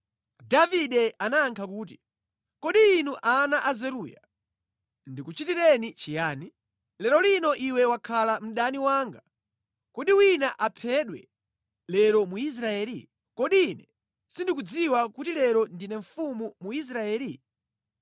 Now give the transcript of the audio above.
Davide anayankha kuti, “Kodi inu ana a Zeruya, ndikuchitireni chiyani? Lero lino iwe wakhala mdani wanga! Kodi wina aphedwe lero mu Israeli? Kodi ine sindikudziwa kuti lero ndine mfumu mu Israeli?”